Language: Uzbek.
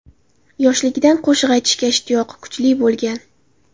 Yoshiligidan qo‘shiq aytishga ishtiyoqi kuchli bo‘lgan.